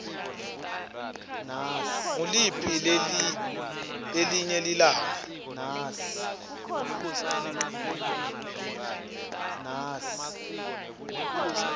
nguliphi lelinye lilunga